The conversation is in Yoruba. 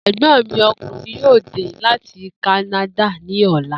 È̩gbó̩n mi o̩kùnrin yóò dé láti Kánádà ní ò̩la